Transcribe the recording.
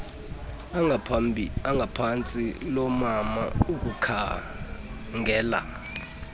langaphantsi loomama ukukhangela